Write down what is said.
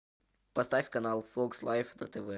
поставь канал фокс лайф на тв